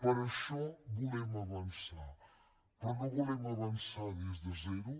per això volem avançar però no volem avançar des de zero